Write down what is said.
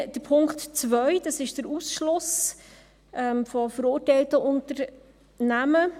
Dann, Punkt 2, das ist der Ausschluss verurteilter Unternehmen.